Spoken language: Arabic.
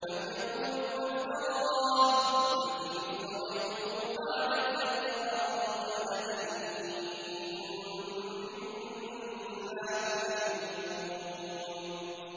أَمْ يَقُولُونَ افْتَرَاهُ ۖ قُلْ إِنِ افْتَرَيْتُهُ فَعَلَيَّ إِجْرَامِي وَأَنَا بَرِيءٌ مِّمَّا تُجْرِمُونَ